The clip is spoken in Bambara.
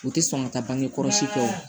U tɛ sɔn ka taa bangekɔlɔsi fɛ o